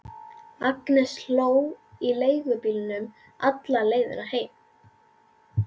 Agnes hló í leigubílnum alla leiðina heim.